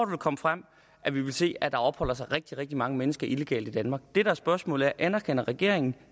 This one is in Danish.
vil komme frem at vi vil se at der opholder sig rigtig rigtig mange mennesker illegalt i danmark det der er spørgsmålet er anerkender regeringen